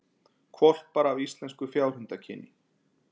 Hvolpar af íslenska fjárhundakyninu